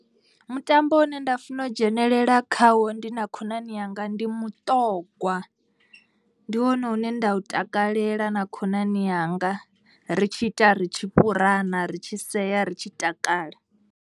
Mutambo une nda funa u dzhenelela khawo ndi na khonani yanga ndi muṱogwa. Ndi wone une nda u takalela na khonani yanga ri tshi ita ri tshi fhurana ri tshi sea ri tshi takala.